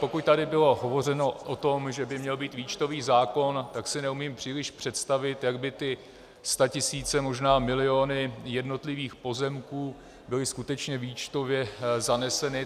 Pokud tady bylo hovořeno o tom, že by měl být výčtový zákon, tak si neumím příliš představit, jak by ty statisíce, možná miliony jednotlivých pozemků byly skutečně výčtově zaneseny.